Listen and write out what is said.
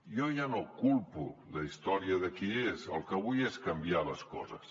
jo ja no culpo la història de qui és el que vull és canviar les coses